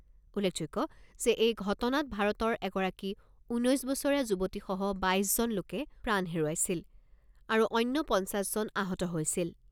উল্লেখযোগ্য যে এই ঘটনাত ভাৰতৰ এগৰাকী ঊনৈছ বছৰীয়া যুৱতীসহ বাইছজন লোকে প্ৰাণ হেৰুৱাইছিল আৰু অন্য পঞ্চাছ জন আহত হৈছিল।